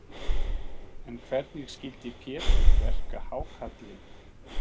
En hvernig skyldi Pétur verka hákarlinn?